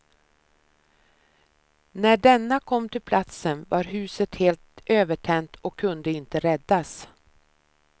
När denna kom till platsen var huset helt övertänt och kunde inte räddas.